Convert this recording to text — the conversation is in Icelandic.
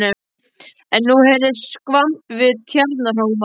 En nú heyrðist skvamp við Tjarnarhólmann.